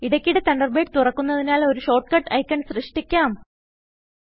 ഇടയ്ക്കിടെ തണ്ടർബേഡ് തുറക്കുനതിനാൽ ഒരു ഷോർട്ട് കട്ട് ഐക്കൺ സൃഷ്ടിക്കാം